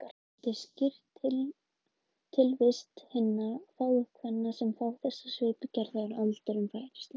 Það gæti skýrt tilvist hinna fáu kvenna sem fá þessa svipgerð þegar aldurinn færist yfir.